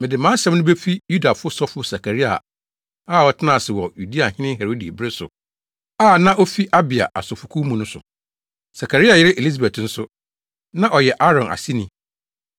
Mede mʼasɛm no befi Yudafo sɔfo Sakaria a ɔtenaa ase wɔ Yudeahene Herode bere so a na ofi Abia asɔfokuw mu no so. Sakaria yere Elisabet nso, na ɔyɛ Aaron aseni.